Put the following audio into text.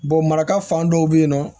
maraka fan dɔw be yen nɔ